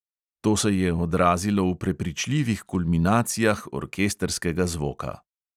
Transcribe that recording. To se je odrazilo v prepričljivih kulminacijah orkestrskega zvoka.